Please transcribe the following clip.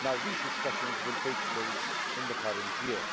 These discussions will take place in the current year.